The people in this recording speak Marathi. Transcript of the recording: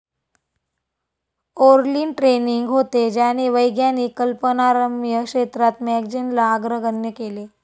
ओर्लीन ट्रेनिंग होते, ज्याने वैज्ञानिक कल्पनारम्य क्षेत्रात मॅगजीनला अग्रगण्य केले.